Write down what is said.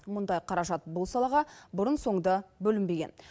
мұндай қаражат бұл салаға бұрын соңды бөлінбеген